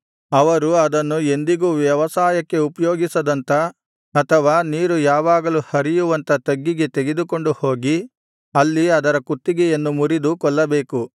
ಅವರು ಅದನ್ನು ಎಂದಿಗೂ ವ್ಯವಸಾಯಕ್ಕೆ ಉಪಯೋಗಿಸದಂಥ ಅಥವಾ ನೀರು ಯಾವಾಗಲೂ ಹರಿಯುವಂಥ ತಗ್ಗಿಗೆ ತೆಗೆದುಕೊಂಡು ಹೋಗಿ ಅಲ್ಲಿ ಅದರ ಕುತ್ತಿಗೆಯನ್ನು ಮುರಿದು ಕೊಲ್ಲಬೇಕು